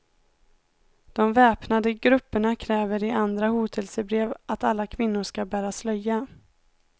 De väpnade grupperna kräver i andra hotelsebrev att alla kvinnor skall bära slöja.